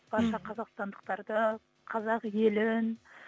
барша қазақстандықтарды қазақ елін